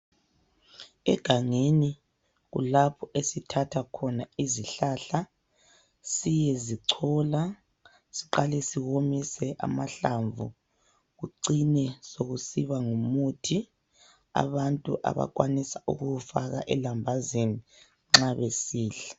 Egangeni kulapho esithatha khona izihlahla siyezicola ,siqale siwomise amahlamvu .Kucine sokusiba ngumuthi ,abantu abakhwanisa ukuwufaka elambazini nxa besidla.